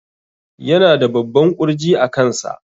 Yana da babban ƙurji a kansa